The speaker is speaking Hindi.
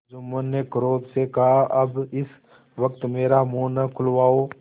जुम्मन ने क्रोध से कहाअब इस वक्त मेरा मुँह न खुलवाओ